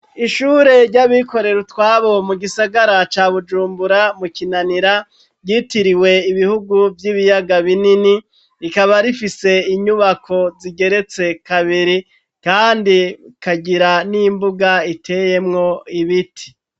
Ishure ryabikorero utwabo mu gisagara ca bujumbura mu kinanira ryitiriwe ibihugu vy'ibiyaga binini rikaba rifise inyubako zigeretse kabiri kandi kagira n'imbuga iteyemwo ibiti.